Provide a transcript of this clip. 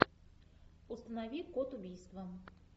установи код убийства